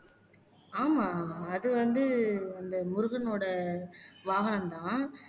ஆமா அது வந்து அந்த முருகனோட வாகனம்தான்